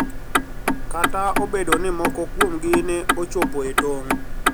Kata obedo ni moko kuomgi ne ochopo e tong`